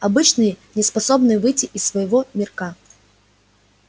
обычные неспособные выйти из своего мирка